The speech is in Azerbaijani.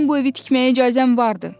mənim bu evi tikməyə icazəm vardı.